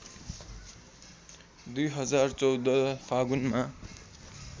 २०१४ फागुनमा